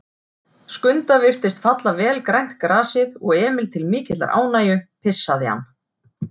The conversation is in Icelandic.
Skunda virtist falla vel grænt grasið og Emil til mikillar ánægju pissaði hann.